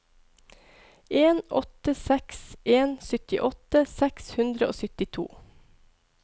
en åtte seks en syttiåtte seks hundre og syttito